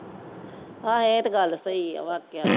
ਹਾਂ ਇਹ ਤਾਂ ਗੱਲ ਸਹੀ ਐ ਵਾਕਿਆ ਹੀ।